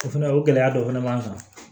O fɛnɛ o gɛlɛya dɔ fɛnɛ b'an kan